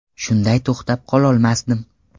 Shunday to‘xtab qololmasdim.